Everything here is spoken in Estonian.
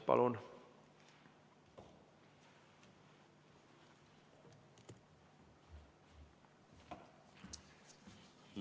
Palun!